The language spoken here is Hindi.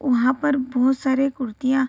वहां पर बहुत सारे कुर्तियां --